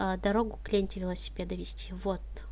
а дорогу к ленте велосипеда вести вот